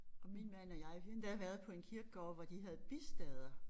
Og min mand og jeg vi har endda været på en kirkegård hvor de havde bistader